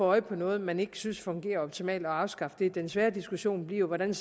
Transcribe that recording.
øje på noget man ikke synes fungerer optimalt og afskaffe det mens den svære diskussion bliver hvordan